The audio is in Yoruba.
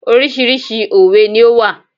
Oríṣiríṣi òwe ni ó wà.